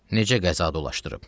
Necə qəza dolaşdırıb?